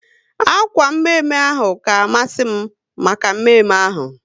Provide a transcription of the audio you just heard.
Akwa mme mme ahụ ka masi m maka mme mme ahu